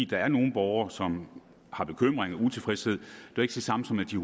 der er nogle borgere som har bekymringer og er utilfredse er jo ikke det samme som at de